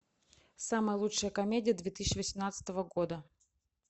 самая лучшая комедия две тысячи восемнадцатого года